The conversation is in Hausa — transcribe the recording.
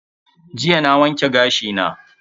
Jiya na wanke gashi na.